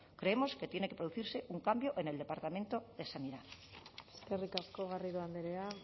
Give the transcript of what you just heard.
creemos que tiene que producirse un cambio en el departamento de sanidad eskerrik asko garrido andrea